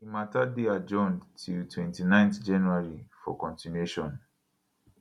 di mata dey adjourned till 29 january for continuation